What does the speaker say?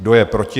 Kdo je proti?